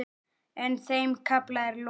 En þeim kafla er lokið.